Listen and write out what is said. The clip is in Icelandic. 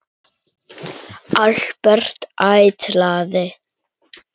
Albert: Ætlaði?